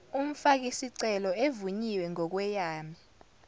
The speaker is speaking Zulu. umfakisicelo evunyiwe ngokweyame